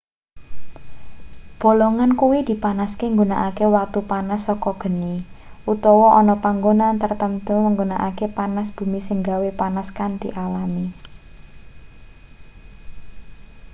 bolongan kuwi dipanaske nggunakake watu panas saka geni utawa ana panggonan tartamtu nggunakake panass bumi sing gawe panas kanthi alami